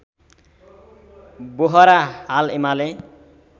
बोहरा हाल एमाले